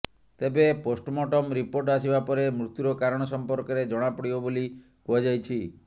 ତେବେ postmortem report ଆସିବା ପରେ ମୃତ୍ୟୁର କାରଣ ସମ୍ପର୍କରେ ଜଣାପଡ଼ିବ ବୋଲି କୁହାଯାଇଛି